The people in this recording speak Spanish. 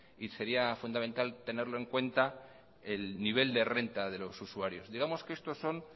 y sería fundamental tenerlo en cuenta el nivel de renta de los usuarios digamos que estos son